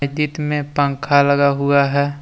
दीतमे में पंखा लगा हुआ है।